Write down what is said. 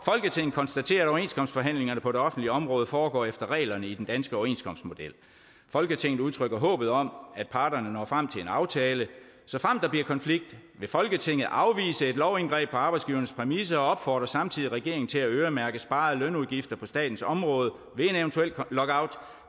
konstaterer at overenskomstforhandlingerne på det offentlige område foregår efter reglerne i den danske overenskomstmodel folketinget udtrykker håbet om at parterne når frem til en aftale såfremt der bliver konflikt vil folketinget afvise et lovindgreb på arbejdsgivernes præmisser og folketinget opfordrer samtidig regeringen til at øremærke sparede lønudgifter på statens område ved en eventuel lockout